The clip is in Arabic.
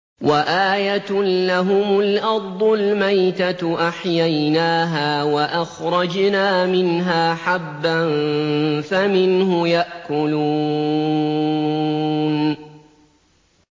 وَآيَةٌ لَّهُمُ الْأَرْضُ الْمَيْتَةُ أَحْيَيْنَاهَا وَأَخْرَجْنَا مِنْهَا حَبًّا فَمِنْهُ يَأْكُلُونَ